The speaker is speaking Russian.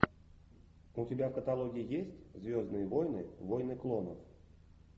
у тебя в каталоге есть звездные войны войны клонов